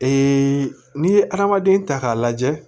n'i ye adamaden ta k'a lajɛ